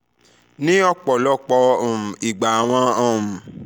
ni ọpọlọpọ um igba awọn um